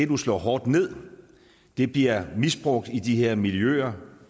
du slår hårdt ned bliver misbrugt i de her miljøer